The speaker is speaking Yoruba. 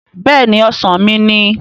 Bẹ́ẹ̀ni! Ọ̀sán mi ni